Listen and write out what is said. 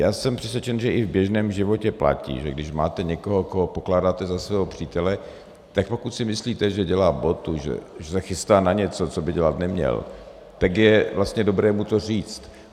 Já jsem přesvědčen, že i v běžném životě platí, že když máte někoho, koho pokládáte za svého přítele, tak pokud si myslíte, že dělá botu, že se chystá na něco, co by dělat neměl, tak je vlastně dobré mu to říct.